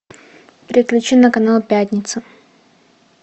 переключи на канал пятница